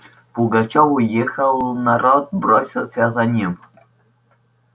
пугачёв уехал народ бросился за ним